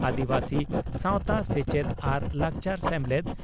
ᱟᱹᱫᱤᱵᱟᱹᱥᱤ ᱥᱟᱣᱛᱟ ᱥᱮᱪᱮᱫ ᱟᱨ ᱞᱟᱠᱪᱟᱨ ᱥᱮᱢᱞᱮᱫ